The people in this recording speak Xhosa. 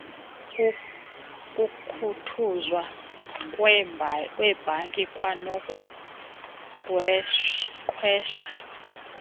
ukukhuthuzwa kweebhanki kwanokuqhwesha